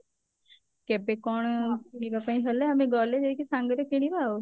କେବେ କଣ ଯିବା ପାଇଁ ହେଲେ ଆମେ ଗଲେ ଯାଇକି ସାଙ୍ଗରେ କିଣିବା ଆଉ